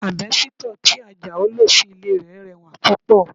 Àbẹ́sítọ̀ tí Ajao lò sí ilé rẹ̀ rẹwà púpọ̀